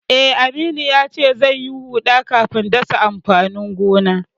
Eh, Aminu yace zai yi huɗa kafin dasa amfanin gona.